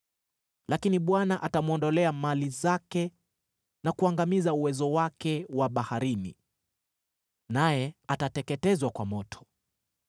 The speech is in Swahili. Lakini Bwana atamwondolea mali zake na kuuangamiza uwezo wake wa baharini, naye atateketezwa kwa moto.